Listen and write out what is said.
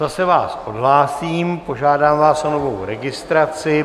Zase vás odhlásím, požádám vás o novou registraci.